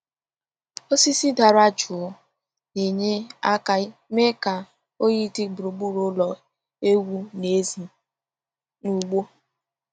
Osisi dara jụụ na-enye aka mee ka oyi dị gburugburu ụlọ ewu n’èzí n’ugbo.